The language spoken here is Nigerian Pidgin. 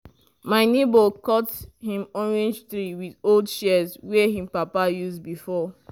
my neighbor cut him orange tree with old shears wey him papa use before.